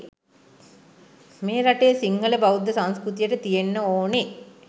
මේ රටේ සින්හල බෞද්ධ සංස්කෘතියට තියෙන්න ඕනෙ